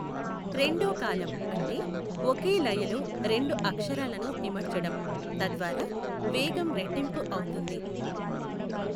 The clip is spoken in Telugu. రెండో కాలం అంటే ఒకే లయలో రెండు అక్షరాలను ఇమడ్చడం, తద్వారా వేగం రెట్టింపు అవుతుంది.